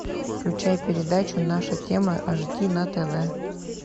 включай передачу наша тема аш ди на тв